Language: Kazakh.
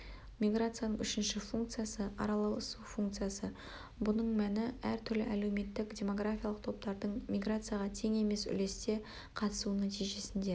миграцияның үшінші функциясы-араласу функциясы бұның мәні әр түрлі әлеуметтік-демографиялық топтардың миграцияға тең емес үлесте қатысуының нәтижесінде